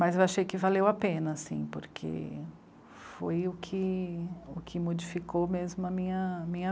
Mas eu achei que valeu a pena, assim, porque foi o que, o que modificou mesmo a minha, minha